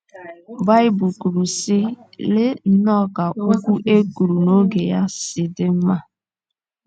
Baịbụl kwuru, sị: ‘ Lee nnọọ ka okwu e kwuru n’oge ya si dị mma! ’